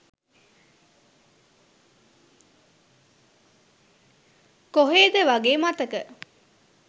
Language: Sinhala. කොහෙද වගේ මතක